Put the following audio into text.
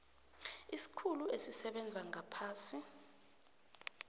isikhulu esisebenza ngaphasi